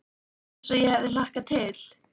Eins og ég hafði hlakkað til.